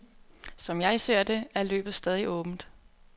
Som jeg ser det, er løbet stadig åbent.